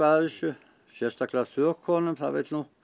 að þessu sérstaklega þökunum það vill nú